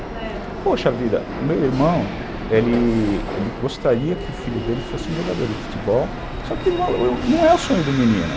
Poxa vida, meu irmão, ele gostaria que o filho dele fosse um jogador de futebol, só que não é o sonho do menino.